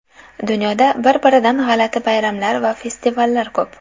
Dunyoda bir-biridan g‘alati bayramlar va festivallar ko‘p.